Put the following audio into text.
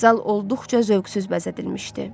Zal olduqca zövqsüz bəzədilmişdi.